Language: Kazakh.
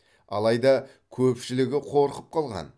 алайда көпшілігі қорқып қалған